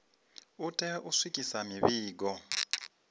u tea u swikisa mivhigo